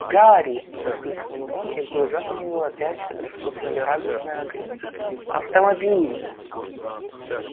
гарри воскликнул рон и в глазах у него опять вспыхнули радостные огоньки автомобиль